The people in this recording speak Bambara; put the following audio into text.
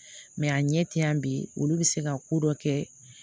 a ɲɛ tɛ yan bi olu bɛ se ka ko dɔ kɛ